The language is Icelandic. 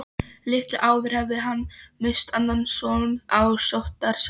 Litlu áður hafði hann misst annan son á sóttarsæng.